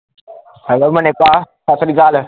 hello Mani ਭਾ ਸਾਸਰੀਕਲ